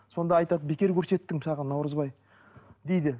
сонда айтады бекер көрсеттім саған наурызбай дейді